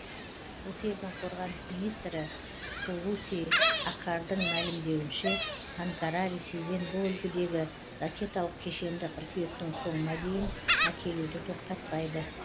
осы елдің қорғаныс министрі хулуси акардың мәлімдеуінше анкара ресейден бұл үлгідегі ракеталық кешенді қыркүйектің соңына дейін әкелуді тоқтатпайды